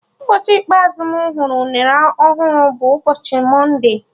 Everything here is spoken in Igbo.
Ụbọchị ikpeazụ mụ hụrụ unere ọhụrụ bụ ụbọchị mọnde